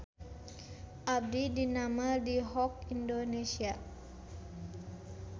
Abdi didamel di Hock Indonesia